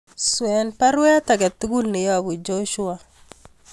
Swen baruet agetugul neyobu Joshua